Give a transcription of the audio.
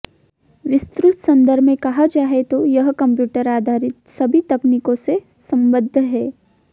विस्तृत संदर्भ में कहा जाए तो यह कंप्यूटर आधारित सभी तकनीकों से संबद्ध है